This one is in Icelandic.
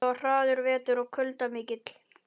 Þetta var harður vetur og kuldar miklir.